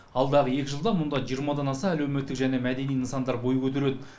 алдағы екі жылда мұнда жиырмадан аса әлеуметтік және мәдени нысандар бой көтереді